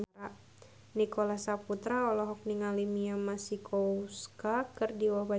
Nicholas Saputra olohok ningali Mia Masikowska keur diwawancara